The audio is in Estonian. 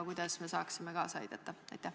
Kuidas me saaksime kaasa aidata?